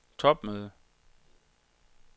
topmøde